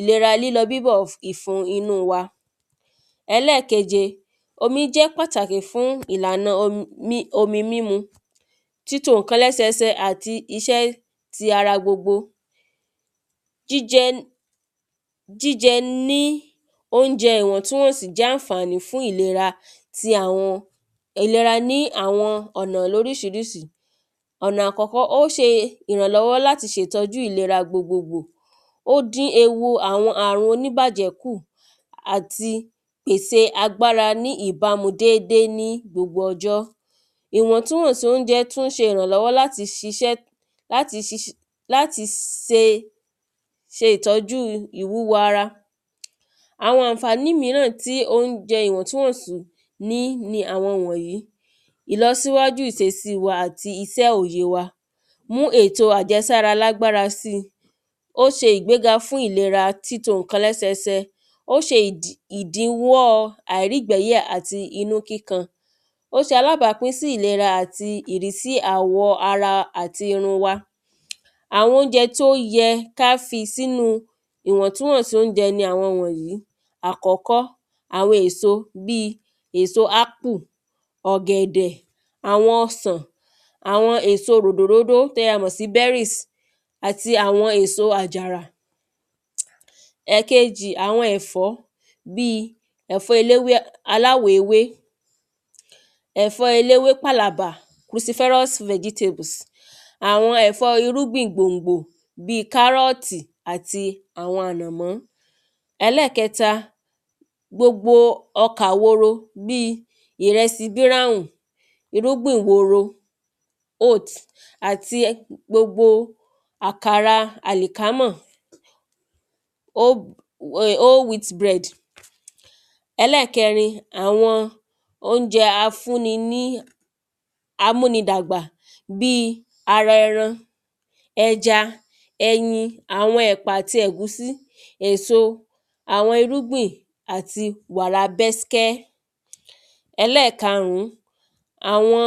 ìlera lílọ bíbọ̀ ìfun inú wa Ẹlẹ́ẹ̀keje omi jẹ́ pàtàkì fún ìlànà omi mímu títo nǹkan lẹ́sẹ ẹsẹ àti iṣẹ́ ti ara gbogbo jíjẹ jíjẹ ní óúnjẹ ìwọ̀ntúnwọ̀nsí jẹ́ ànfàní fún ìlera ti àwọn ìlera ní àwọn ọ̀nà lórísirísi ọ̀nà àkọ́kọ́ ó ṣe ìrànlọ́wọ́ láti tọ́jú ìlera gbogbo gbò ó dín ewu àwọn àrùn oníbàjẹ́ kù àti pèsè agbára ní ìbámu ní dédé ní gbogbo ọjọ́ ìwọ̀ntúnwọ̀nsí óúnjẹ tún ṣe ìrànlọ́wọ́ láti ṣiṣẹ́ láti ṣiṣẹ́ láti se ṣe ìtọ́jú ìwúwo ara. Àwọn ànfàní míràn tí óúnjẹ ìwọ̀ntúnwọ̀nsí ní ni àwọn wọ̀nyìí ìlọsíwájú ìsesí wa àti isẹ́ òye wa mú èto àjẹsára lágbára sí ó ṣe ìgbéga fún ìlera títo nǹkan lẹ́sẹ ẹsẹ ó ṣe ìdíwọ́ àìrígbẹ̀yà àti inú kíkan ó ṣe alábápín sí ìlera àwọ̀ wa àti irun wa Àwọn óúnjẹ tó yẹ ká fi sínú ìwọ̀ntúnwọ̀nsí óúnjẹ ni àwọn wọ̀nyìí àkọ́kọ́ àwọn èso bí àwọn èso ápù ọ̀gẹ̀dẹ̀ àwọn ọsàn àwọn èso ròdò ródó tí a mọ̀ sí berries àti àwọn èso àjàrà Ẹ̀kejì àwọn ẹ̀fọ́ bí ẹ̀fọ́ elé aláwọ̀ ewé ẹ̀fọ́ eléwé pàlàbà cruciferus vegetables àwọn ẹ̀fọ́ irúgbìn gbòngbò bí kárọ̀tì àti ànàmọ́ Ẹlẹ́ẹ̀keta gbogbo ọkà woro bí ìrẹsì brown irúgbìn woro oat àti gbogbo àkàrà àlìkámọ̀. whole wheat bread Ẹlẹ́ẹ̀kẹrin àwọn óúnjẹ afúni ní amúni dàgbà bí ara ẹran ẹja ẹyin àwọn ẹ̀pà àti ẹ̀gúsí èso àwọn irúgbìn àti wàrà bẹ́skẹ́. Ẹlẹ́ẹ̀karùn àwọn